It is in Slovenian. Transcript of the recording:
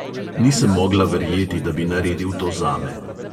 Nisem mogla verjeti, da bi naredil to zame.